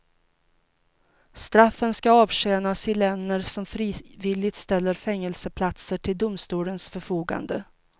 Straffen ska avtjänas i länder som frivilligt ställer fängelseplatser till domstolens förfogande.